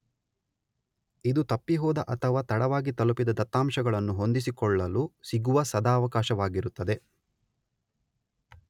ಇದು ತಪ್ಪಿಹೋದ ಅಥವಾ ತಡವಾಗಿ ತಲುಪಿದ ದತ್ತಾಂಶಗಳನ್ನು ಹೊಂದಿಸಿಕೊಳ್ಳಲು ಸಿಗುವ ಸದವಕಾಶವಾಗಿರುತ್ತದೆ.